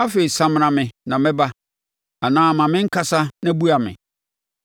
Afei samena me na mɛba, anaa ma menkasa na bua me.